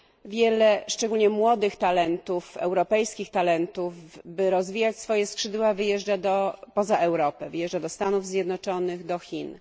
Wiele, szczególnie młodych talentów, europejskich talentów, by rozwijać swoje skrzydła wyjeżdża poza Europę, do Stanów Zjednoczonych, do Chin.